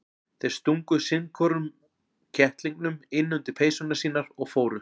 Þeir stungu sinn hvorum kettlingnum inn undir peysurnar sínar og fóru.